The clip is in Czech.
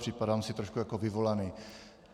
Připadám si trošku jako vyvolaný.